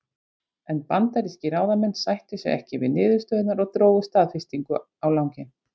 En bandarískir ráðamenn sættu sig ekki við niðurstöðurnar og drógu staðfestingu á langinn.